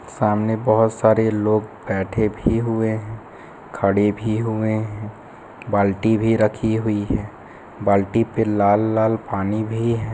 सामने बहुत सारे लोग बैठे भी हुए है खडे़ भी हुए है बाल्टी भी रखी हुई है बाल्टी पे लाल लाल पानी भी है।